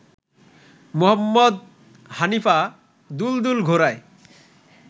মুহম্মদ হানিফা ‘দুলদুল’ ঘোড়ায়